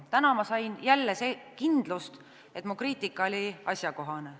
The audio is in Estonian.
Täna sain jälle kindlust, et mu kriitika oli asjakohane.